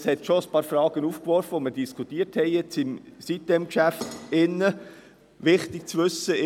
Dies hat schon ein paar Fragen aufgeworfen, die wir im Rahmen des betreffenden Geschäfts diskutiert haben.